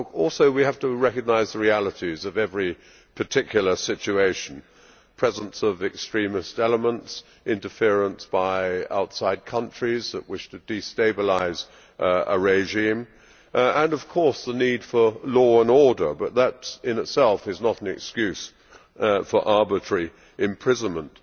But we also have to recognise the realities of every particular situation the presence of extremist elements, interference by outside countries that wish to destabilise a regime and, of course, the need for law and order. But that in itself is not an excuse for arbitrary imprisonment.